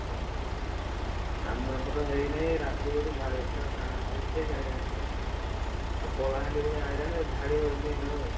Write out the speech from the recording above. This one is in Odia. ଓହୋ, ଆମ ଏପଟେ ହେଇନାହି ରାତିରେ ବୋଧେ ଝାଡିବ ପୁରା ଉଠେଇକି ଆଇଲାଣି ପୁରା, ଆଉ କଳାହାଣ୍ଡି ଭଳିଆ ଆଇଲାଣି ଝାଡିବ ଏଇଖିନା ଆଉ।